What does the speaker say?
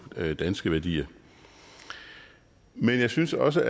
danske værdier men jeg synes også